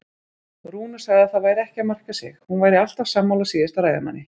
Rúna sagði að það væri ekki að marka sig, hún væri alltaf sammála síðasta ræðumanni.